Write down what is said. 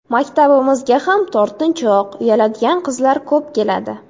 Maktabimizga ham tortinchoq, uyaladigan qizlar ko‘p keladi.